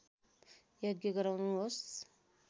यज्ञ गराउनुहोस्